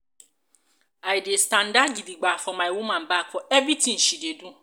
i dey standa gidigba for my woman back for everytin she dey do.